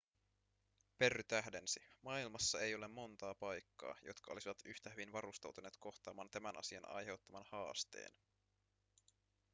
perry tähdensi maailmassa ei ole monta paikkaa jotka olisivat yhtä hyvin varustautuneet kohtaamaan tämän asian aiheuttaman haasteen